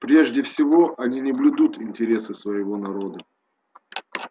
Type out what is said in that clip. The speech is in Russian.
прежде всего они не блюдут интересы своего народа